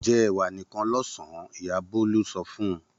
Jẹ ẹ̀wà nìkan lọ́sàn-án! Ìyá Bólú sọ fún un.